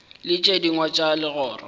le tše dingwe tša legoro